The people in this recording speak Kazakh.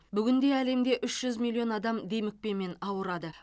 бүгінде әлемде үш жүз миллион адам демікпемен ауырады